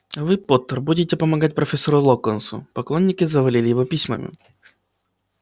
а вы поттер будете помогать профессору локонсу поклонники завалили его письмами